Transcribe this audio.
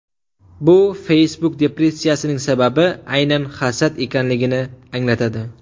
Bu Facebook-depressiyaning sababi aynan hasad ekanligini anglatadi.